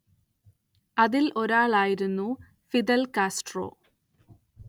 അതിൽ ഒരാളായിരുന്നു Fidel Castro.